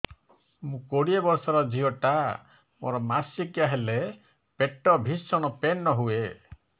ମୁ କୋଡ଼ିଏ ବର୍ଷର ଝିଅ ଟା ମୋର ମାସିକିଆ ହେଲେ ପେଟ ଭୀଷଣ ପେନ ହୁଏ